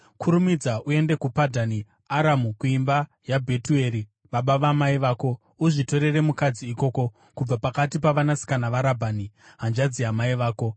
Kurumidza uende kuPadhani Aramu kuimba yaBhetueri baba vamai vako. Uzvitorere mukadzi ikoko, kubva pakati pavanasikana vaRabhani, hanzvadzi yamai vako.